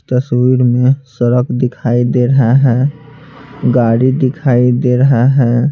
तस्वीर में सड़क दिखाई दे रहा है गाड़ी दिखाई दे रहा है।